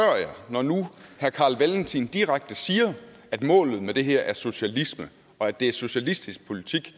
når herre carl valentin direkte siger at målet med det her er socialisme og at det er socialistisk politik